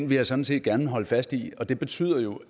vil jeg sådan set gerne holde fast i og det betyder jo